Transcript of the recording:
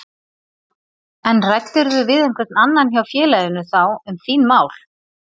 En ræddirðu við einhvern annan hjá félaginu þá um þín mál?